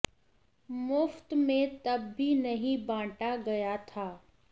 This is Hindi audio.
मुफ्त में तब भी नहीं बांटा गया था